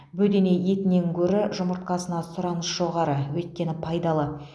бөдене етінен гөрі жұмыртқасына сұраныс жоғары өйткені пайдалы